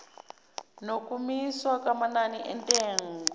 nokumiswa kwamanani entengo